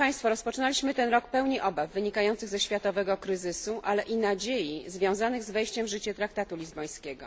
Rozpoczynaliśmy ten rok pełni obaw, wynikających ze światowego kryzysu, ale i nadziei, związanych z wejściem w życie traktatu lizbońskiego.